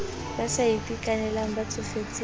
ba sa itekanelang ba tsofetseng